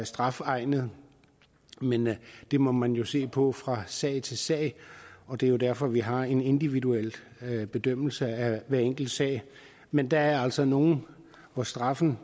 strafegnede men det må man jo se på fra sag til sag og det er derfor vi har en individuel bedømmelse af hver enkelt sag men der er altså nogle hvor straffen